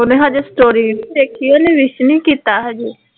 ਉਹਨੇ ਹਜੇ story ਵੇਖੀ, ਉਹਨੇ wish ਨਹੀਂ ਕੀਤਾ ਹਜੇ